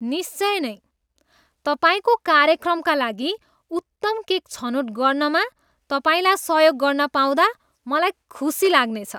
निश्चय नै! तपाईँको कार्यक्रमका लागि उत्तम केक छनोट गर्नमा तपाईँलाई सहयोग गर्न पाउँदा मलाई खुसी लाग्नेछ।